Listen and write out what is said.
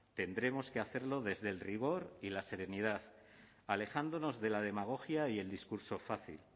tendremos que hacerlo desde el rigor y la serenidad alejándonos de la demagogia y el discurso fácil